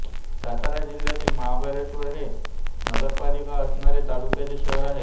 सातारा जिल्ह्यातील महाबळेश्वर हे एक नगरपालिका असणारे तालुक्याचे शहर आहे